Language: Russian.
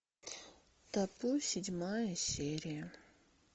табу седьмая серия